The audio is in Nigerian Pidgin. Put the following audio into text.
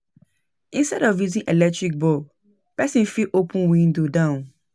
Instead of using electric bulb, person fit open window down